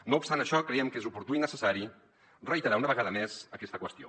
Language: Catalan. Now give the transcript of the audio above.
no obstant això creiem que és oportú i necessari reiterar una vegada més aquesta qüestió